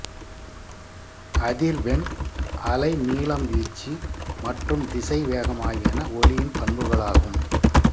அதிர்வெண் அலைநீளம் வீச்சு மற்றும் திசைவேகம் ஆகியன ஒலியின் பண்புகளாகும்